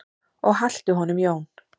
Og haltu honum Jón.